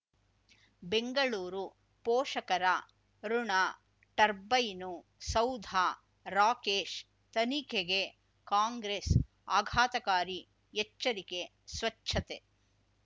ಬೆಂಗಳೂರು ಪೋಷಕರ ಋಣ ಟರ್ಬೈನು ಸೌಧ ರಾಕೇಶ್ ತನಿಖೆಗೆ ಕಾಂಗ್ರೆಸ್ ಆಘಾತಕಾರಿ ಎಚ್ಚರಿಕೆ ಸ್ವಚ್ಛತೆ